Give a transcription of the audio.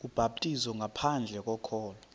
ubhaptizo ngaphandle kokholo